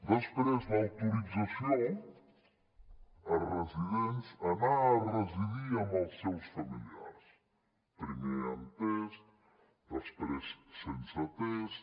després l’autorització a residents a anar a residir amb els seus familiars primer amb test després sense test